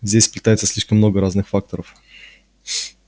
здесь сплетается слишком много разных факторов